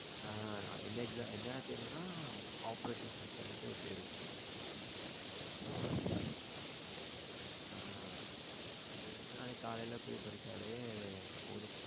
ஆ என்ன exam என்ன தேர்வுனா? operating system two தேர்வு. ஆ அது வந்து நாளைக்கு கலையில போய் படிச்ச்சாலே போதும்.